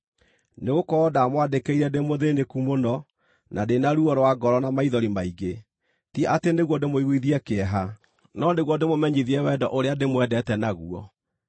Nĩgũkorwo ndamwandĩkĩire ndĩ mũthĩĩnĩku mũno, na ndĩ na ruo rwa ngoro na maithori maingĩ, ti atĩ nĩguo ndĩmũiguithie kĩeha, no nĩguo ndĩmũmenyithie wendo ũrĩa ndĩmwendete naguo.